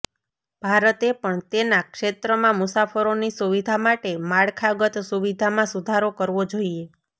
ભારતે પણ તેના ક્ષેત્રમાં મુસાફરોની સુવિધા માટે માળખાગત સુવિધામાં સુધારો કરવો જોઇએ